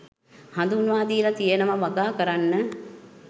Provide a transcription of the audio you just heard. හඳුන්වා දීල තියනව වගා කරන්න.